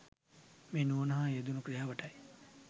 මේ නුවණ හා යෙදුන ක්‍රියාවටයි.